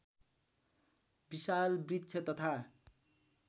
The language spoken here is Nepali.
विशाल वृक्ष तथा